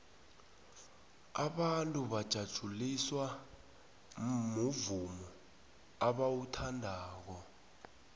abantu bajatjuliswa muvumo abauthandako